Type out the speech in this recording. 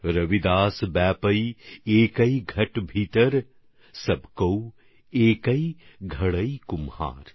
রবিদাস ব্যাপৈ একৈ ঘট ভিতর সভ কৌ একৈ ঘড়েই কুমহার